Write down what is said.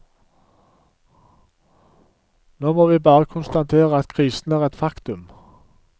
Nå må vi bare konstatere at krisen er et faktum.